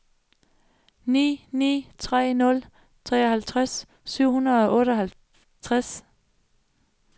ni ni tre nul treoghalvtreds syv hundrede og otteoghalvtreds